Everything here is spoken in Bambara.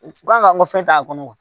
Ko an ka n ka fɛn t'a kɔnɔ